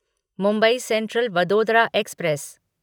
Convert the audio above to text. Mumbai central Vadodara express